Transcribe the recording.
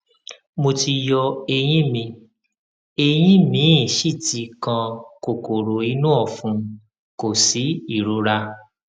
mo ti yọ eyín mi eyín míì sì ti kan kòkòrò inú ọfun kò sí ìrora